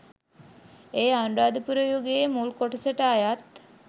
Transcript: එය අනුරාධපුර යුගයේ මුල් කොටසට අයත්